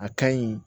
A ka ɲi